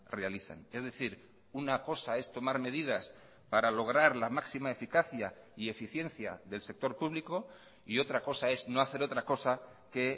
realizan es decir una cosa es tomar medidas para lograr la máxima eficacia y eficiencia del sector público y otra cosa es no hacer otra cosa que